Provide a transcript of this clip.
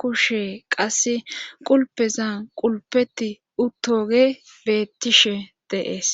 kushe qasse qulpezan qulpeti uttoge bettishe deees.